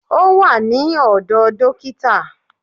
Ó wà ní ọ̀dọ̀ dókítà